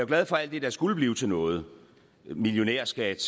glad for at det der skulle blive til noget millionærskat